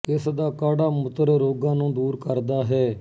ਇਸ ਦਾ ਕਾੜ੍ਹਾ ਮੂਤ੍ਰ ਰੋਗਾਂ ਨੂੰ ਦੂਰ ਕਰਦਾ ਹੈ